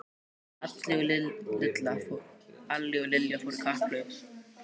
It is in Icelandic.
Alli og Lilla fóru í kapphlaup.